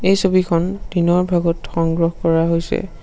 এই ছবিখন দিনৰ ভাগত সংগ্ৰহ কৰা হৈছে।